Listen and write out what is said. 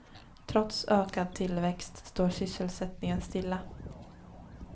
Trots ökad tillväxt står sysselsättningen stilla.